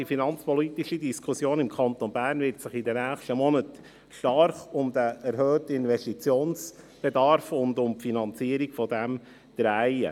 Die finanzpolitische Diskussion im Kanton Bern wird sich in den kommenden Monaten stark um den erhöhten Investitionsbedarf und um dessen Finanzierung drehen.